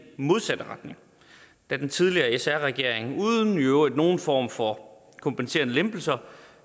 modsatte retning da den tidligere sr regering uden i øvrigt nogen form for kompenserende lempelser